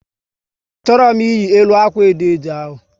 A chọrọ m iyi elu akwa edo edo ahu